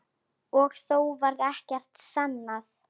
Og þó varð ekkert sannað.